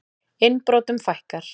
Innbrotum fækkar